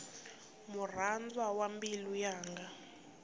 murhandzwa wa mbilu yanga